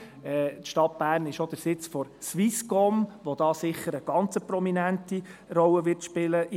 Die Stadt Bern ist auch der Sitz der Swisscom, die hier sicher eine ganz prominente Rolle spielen wird.